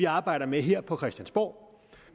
arbejder med her på christiansborg